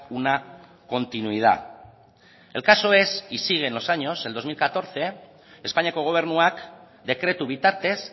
una continuidad el caso es y sigue en los años en dos mil catorce espainiako gobernuak dekretu bitartez